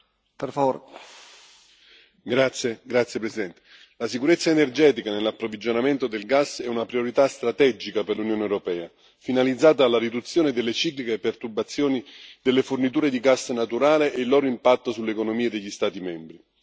Signor Presidente, onorevoli colleghi, la sicurezza energetica nell'approvvigionamento del gas è una priorità strategica per l'Unione europea, finalizzata alla riduzione delle cicliche perturbazioni delle forniture di gas naturale e del loro impatto sull'economia degli Stati membri.